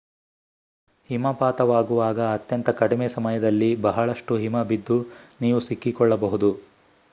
ಹಿಮಪಾತವಾಗುವಾಗ ಅತ್ಯಂತ ಕಡಿಮೆ ಸಮಯದಲ್ಲಿ ಬಹಳಷ್ಟು ಹಿಮಬಿದ್ದು ನೀವು ಸಿಕ್ಕಿಕೊಳ್ಳಬಹುದು